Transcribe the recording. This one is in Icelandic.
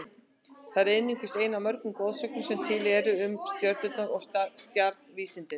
Þetta er einungis ein af mörgum goðsögnum sem til eru um stjörnurnar og stjarnvísindin.